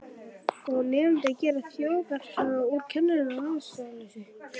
Og nemendur gera þjóðsagnapersónur úr kennurum að ástæðulausu.